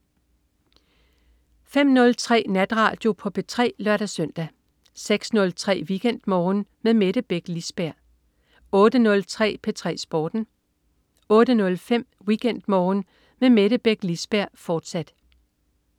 05.03 Natradio på P3 (lør-søn) 06.03 WeekendMorgen med Mette Beck Lisberg 08.03 P3 Sporten 08.05 WeekendMorgen med Mette Beck Lisberg, fortsat